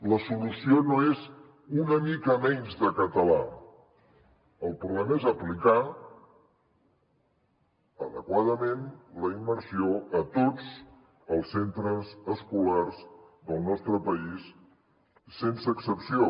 la solució no és una mica menys de català el problema és aplicar adequadament la immersió a tots els centres escolars del nostre país sense excepció